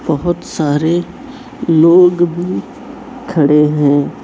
बहोत सारे लोग भी खड़े हैं।